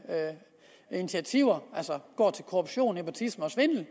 initiativer altså går til korruption nepotisme og svindel